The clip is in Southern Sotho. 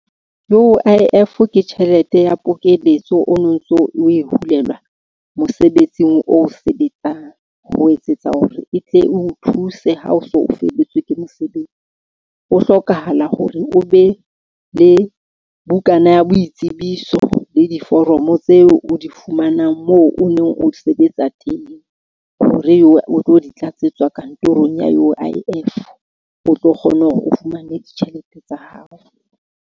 U_I_F ke tjhelete ya pokelletso, o no ntso o e hulelwa mosebetsing o sebetsang. Ho etsetsa hore e tle eo thuse ha o so o felletswe ke mosebetsi. Ho hlokahala hore o be le bukana ya boitsebiso le diforomo tseo o di fumanang, moo o neng o sebetsa teng hore o tlo di tlatsetswa kantorong ya U_I_F o tlo kgone hore o fumane ditjhelete tsa hao.